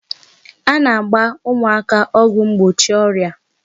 A na-agba ụmụaka ọgwụ mgbochi ọrịa